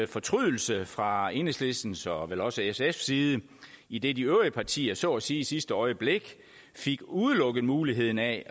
fortrydelse fra enhedslistens og vel også sfs side idet de øvrige partier så at sige i sidste øjeblik fik udelukket muligheden af